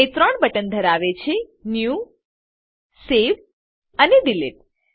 તે ત્રણ બટન ધરાવે છે ન્યૂ સવે અને ડિલીટ